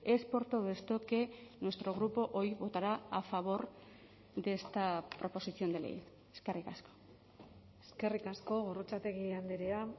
es por todo esto que nuestro grupo hoy votará a favor de esta proposición de ley eskerrik asko eskerrik asko gorrotxategi andrea